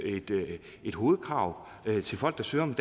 et hovedkrav til folk der søger om